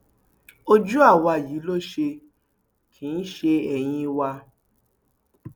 ojú àwa yìí ló ṣe kì í ṣe ẹyìn wa